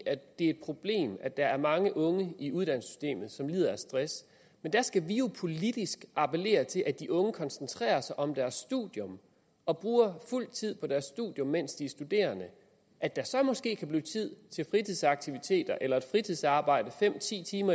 i et problem at der er mange unge i uddannelsessystemet som lider af stress men der skal vi jo politisk appellere til at de unge koncentrerer sig om deres studium og bruger fuld tid på deres studium mens de er studerende at der så måske kan blive tid til fritidsaktiviteter eller fritidsarbejde fem ti timer